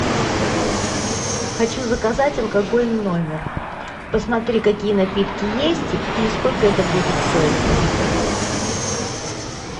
хочу заказать алкоголь в номер посмотри какие напитки есть и сколько это будет стоить